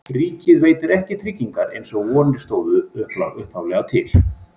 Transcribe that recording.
Ríkið veitir ekki tryggingar eins og vonir stóðu upphaflega til.